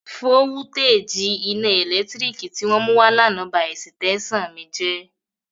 Vówútéjì iná ẹ̀lẹ́tírík tí wọ́n mú wá l'ánà ba ẹ̀sìtẹ́ṣàn mi jẹ́